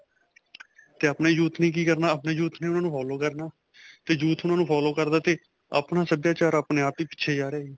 'ਤੇ ਆਪਣੇ youth ਨੇ ਕੀ ਕਰਨਾ? ਆਪਣੇ youth ਨੇ ਉਨ੍ਹਾਂ ਨੂੰ follow ਕਰਨਾ 'ਤੇ youth follow ਕਰਦਾ 'ਤੇ ਆਪਣਾ ਸਭਿਆਚਾਰ ਆਪਣੇ ਆਪ ਹੀ ਪਿੱਛੇ ਜਾ ਰਿਹਾ ਜੀ.